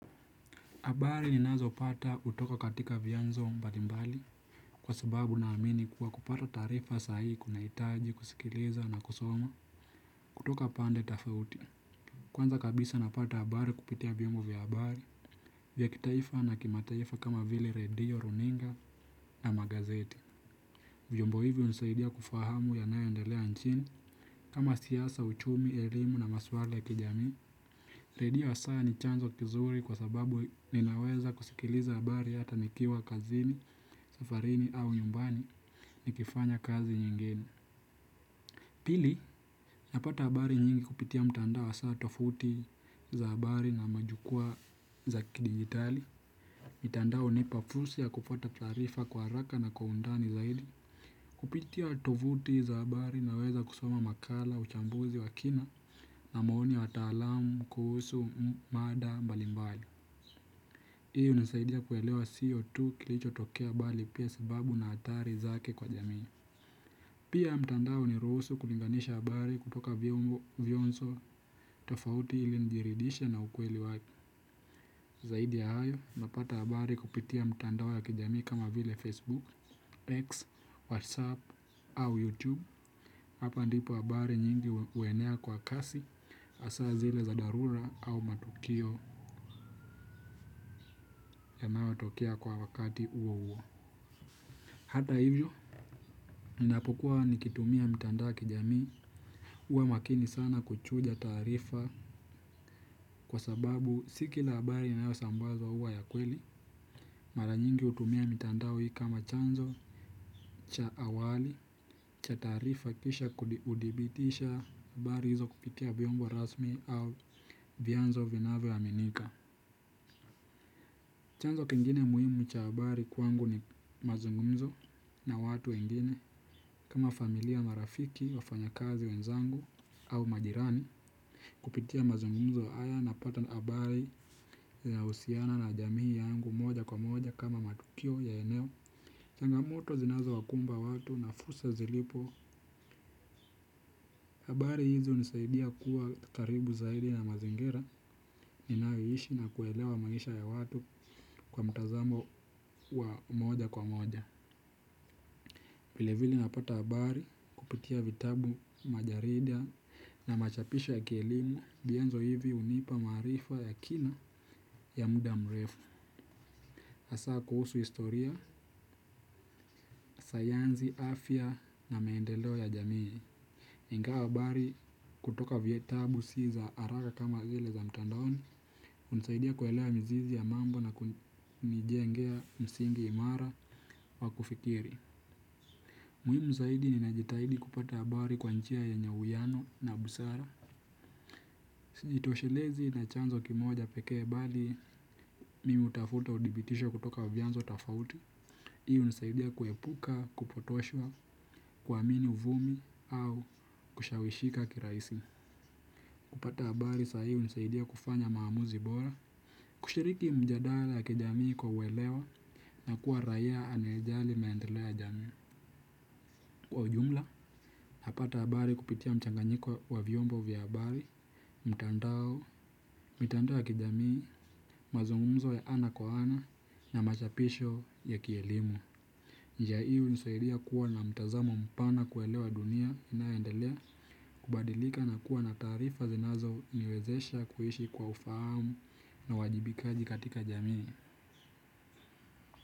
Habari ninazo pata kutoka katika vyanzo mbalimbali kwa sababu na amini kuwa kupata taarifa sahihi kunahitaji kusikiliza na kusoma kutoka pande tofauti. Kwanza kabisa napata habari kupitia vyombo vya habari vya kitaifa na kimataifa kama vile redio, runinga na magazeti. Vyombo hivyo hunisaidia kufahamu yanayoendelea nchini kama siasa, uchumi, elimu na maswala ya kijamii. Redio hasa ni chanzo kizuri kwa sababu ninaweza kusikiliza habari hata nikiwa kazini, safarini au nyumbani nikifanya kazi nyingine. Pili, napata habari nyingi kupitia mtandao wa saa tofuti za habari na majukua za kidijitali. Mtandao hunipa fursa ya kufuata taarifa kwa haraka na kwa undani zaidi. Kupitia tovuti za habari naweza kusoma makala uchambuzi wa kina na maoni wa taalamu kuhusu mada mbalimbali hii hunisaidia kuelewa sio tu kilicho tokea habari pia sababu na athari zake kwa jamii. Pia mtandao huniruhusu kulinganisha habari kutoka vyombo vyonzo tofauti ili nijiridhishe na ukweli wake. Zaidi ya hayo napata habari kupitia mtandao ya kijamii kama vile Facebook, X, WhatsApp au YouTube. Hapa ndipo habari nyingi huenea kwa kasi hasa zile za dharura au matukio yanayo tokea kwa wakati huo huo. Hata hivyo, ninapo kua nikitumia mitandao wa kijamii huwa makini sana kuchuja taarifa kwa sababu si kila habari inayosambazwa huwa ya kweli. Mara nyingi hutumia mitandao hii kama chanzo cha awali cha taarifa kisha kudhibitisha habari hizo kupitia vyombo rasmi au vyanzo vinavyo aminika. Chanzo kingine muhimu cha habari kwangu ni mazungumzo na watu wengine kama familia marafiki wafanya kazi wenzangu au majirani kupitia mazungumzo haya napata habari yanayo husiana na jamii yangu moja kwa moja kama matukio ya eneo. Changamoto zinazo wakumba watu na fursa zilipo, habari hizo hunisaidia kuwa karibu zaidi na mazingira ninayoishi na kuelewa maisha ya watu kwa mtazamo wa moja kwa moja. Vilevile napata habari kupitia vitabu, majarida na machapisho ya kielimu vyanzo hivi hunipa maarifa ya kina ya muda mrefu. Hasa kuhusu historia, sayansi, afya na maendeleo ya jamii. Ingawa habari kutoka vitabu si za haraka kama vile za mtandaoni hunisaidia kuelewa mizizi ya mambo na kunijengea msingi imara wa kufikiri. Muhimu zaidi nina jitahidi kupata habari kwa njia yenye uwiano na busara. Sijitoshelezi na chanzo kimoja pekee bali mimi hutafuta udhibitisho kutoka vyanzo tofauti. Hii hunisaidia kuepuka, kupotoshwa, kuamini uvumi au kushawishika kirahisi. Kupata habari sahii hunisaidia kufanya maamuzi bora. Kushiriki mjadala ya kijamii kwa uelewa na kuwa raia anaye jali maendeleo ya jamii. Kwa ujumla napata habari kupitia mchanganyiko wa vyombo vya habari mtandao, mitandao ya kijamii, mazungumzo ya ana kwa ana na machapisho ya kielimu. Njia hii hunisaidia kuwa na mtazamo mpana kuelewa dunia inayoendelea. Kubadilika na kuwa na taarifa zinazo niwezesha kuishi kwa ufahamu na wajibikaji katika jamii.